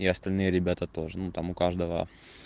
и остальные ребята тоже ну там у каждого